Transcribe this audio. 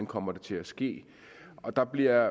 kommer til at ske der bliver